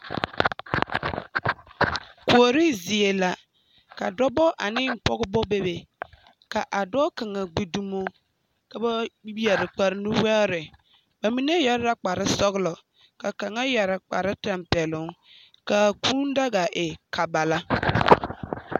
Kuori zie la, dͻbͻ ane p pͻgebͻ bebe. Ka a dͻͻ kaŋa gbi dumo ka ba be a be kpaare nuvaare. Ba mine yԑre la kpare-sͻgelͻ ka ba mine yԑre kpare-tampԑloŋ kaa kũũ daga e kabala.